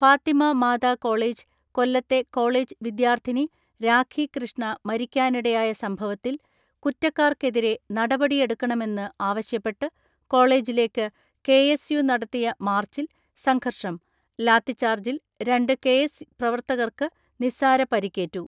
Fathima Mata college കൊല്ലത്തെ college വിദ്യാർത്ഥിനി രാഖി കൃഷ്ണ മരിക്കാനിടയായ സംഭവത്തിൽ കുറ്റക്കാർക്കെതിരെ നടപടിയെടുക്കണമെന്ന് ആവശ്യപ്പെട്ട് കോളേജിലേക്ക് കെ എസ് യു നടത്തിയ മാർച്ചിൽ സംഘർഷം, ലാത്തിച്ചാർജിൽ രണ്ട് കെഎസ് പ്രവർത്തകർക്ക് നിസ്സാര പരിക്കേറ്റു.